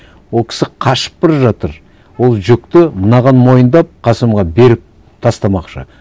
ол кісі қашып бара жатыр ол жүкті мынаған мойындап қасымға беріп тастамақшы